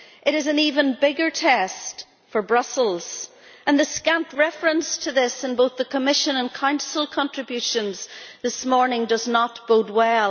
It is an even bigger test for Brussels, and the scant reference to this in both the Commission and Council contributions this morning does not bode well.